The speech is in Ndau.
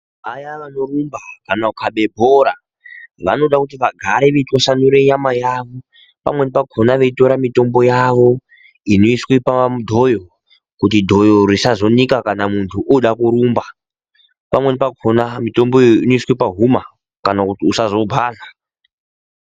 Vaya vanorumba kana kukhabe bhora vanoda kuti vagare veitwasanure nyama yavo pamweni pakhona veitora mutombo yavo inoiswa padhoyo kuti dhoyo risazonika kana muntu oda kurumba pamweni pakhona mitomboyo inoiswa pahuma kana kuti usazobhadhla.